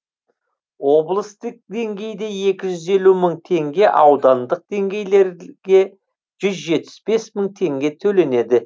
облыстық деңгейде екі жүз елу мың теңге аудандық деңгейдегілерге жүз жетпіс бес мың теңге төленеді